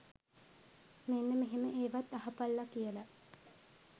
මෙන්න මෙහෙම ඒවත් අහපල්ලා කියලා